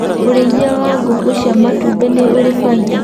ũrĩithia wa ngũkũ cia matumbĩ nĩũrĩ baida.